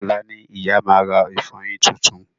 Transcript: Ọ̀la ni ìyá ma rà ìfọyín titun